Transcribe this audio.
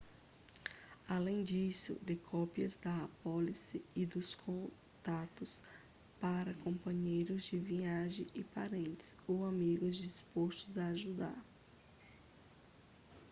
além disso dê cópias da apólice e dos contatos para companheiros de viagem e parentes ou amigos dispostos a ajudar